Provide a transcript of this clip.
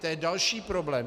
To je další problém.